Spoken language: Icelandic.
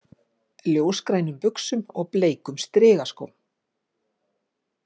Ljósgrænum buxum og bleikum strigaskóm